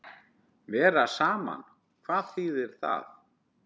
Vera saman, hvað þýðir það?